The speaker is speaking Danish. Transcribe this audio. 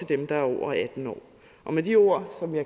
dem der er over atten år med de ord